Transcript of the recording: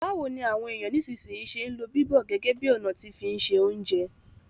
Báwoni àwon èyàn nisínsìnyi se n lo bíbọ̀ gẹ́gẹ́ bi ọ̀nà ti fi n se ounjẹ